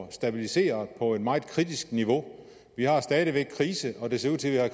er stabiliseret på et meget kritisk niveau vi har stadig væk krise og det ser ud til at